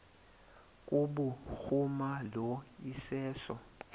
kubhuruma lo iseso